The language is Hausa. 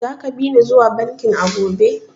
Zaka bi ni zuwa bankin a gobe?